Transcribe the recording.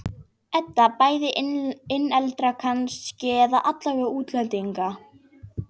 Edda: Bæði innlendra kannski, eða aðallega útlendinganna?